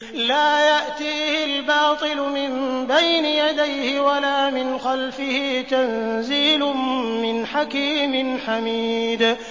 لَّا يَأْتِيهِ الْبَاطِلُ مِن بَيْنِ يَدَيْهِ وَلَا مِنْ خَلْفِهِ ۖ تَنزِيلٌ مِّنْ حَكِيمٍ حَمِيدٍ